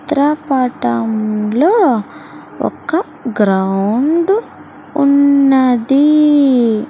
త్ర పటం లో ఒక గ్రౌండ్ ఉన్నది.